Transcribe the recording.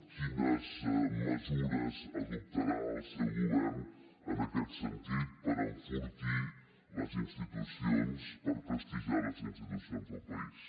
quines mesures adoptarà el seu govern en aquest sentit per enfortir les institucions per prestigiar les institucions del país